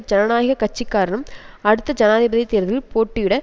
ஜனநாயக கட்சிக்காரரும் அடுத்த ஜனாதிபதி தேர்தலில் போட்டியிட